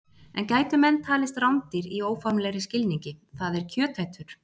En gætu menn talist rándýr í óformlegri skilningi, það er kjötætur?